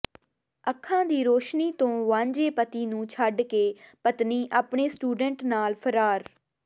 ਅੱਖਾਂ ਦੀ ਰੋਸ਼ਨੀ ਤੋਂ ਵਾਂਝੇ ਪਤੀ ਨੂੰ ਛੱਡ ਕੇ ਪਤਨੀ ਆਪਣੇ ਸਟੂਡੈਂਟ ਨਾਲ ਫਰਾਰ